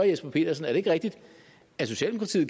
jesper petersen er det ikke rigtigt at socialdemokratiet